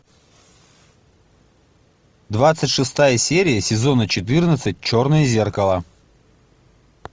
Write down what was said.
двадцать шестая серия сезона четырнадцать черное зеркало